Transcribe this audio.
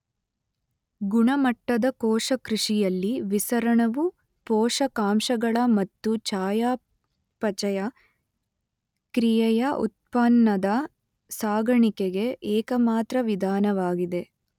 ಗುಣಮಟ್ಟದ ಕೋಶಕೃಷಿಯಲ್ಲಿ ವಿಸರಣವು ಪೋಷಕಾಂಶಗಳ ಮತ್ತು ಚಯಾಪಚಯ ಕ್ರಿಯೆಯ ಉತ್ಪನ್ನದ ಸಾಗಾಣಿಕೆಗೆ ಏಕಮಾತ್ರ ವಿಧಾನವಾಗಿದೆ.